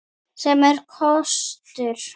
Sem er kostur!